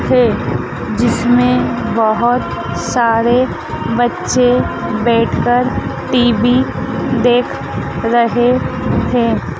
थे। जिसमें बोहोत सारे बच्चे बैठकर टी_वी देख रहे थे।